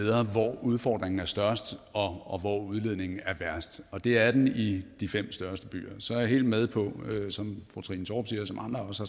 hvor udfordringen er størst og hvor udledningen er værst og det er den i de fem største byer så er jeg helt med på som fru trine torp siger og som andre også